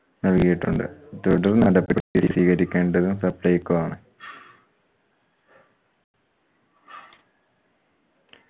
നൽകിയിട്ടുണ്ട്. തുടർ നടപടി സ്വീകരിക്കേണ്ടതും supplyco ആണ്.